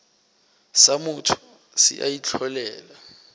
sa motho se a itlholela